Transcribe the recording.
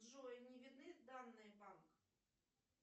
джой не видны данные банка